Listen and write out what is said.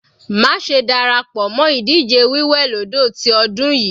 Má ṣe dára pọ̀ mọ́ ìdíje wí wẹ̀ lódò ti ọdún yìí.